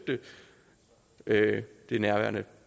det nærværende